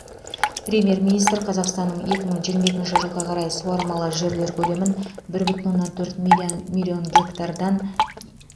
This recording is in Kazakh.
премьер министр қазақстанның екі мың жиырма екінші жылға қарай суармалы жерлер көлемін бір бүтін оннан төрт милман миллион гектардан